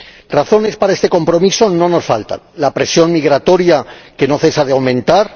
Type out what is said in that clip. Razones para este compromiso no nos faltan la presión migratoria, que no cesa de aumentar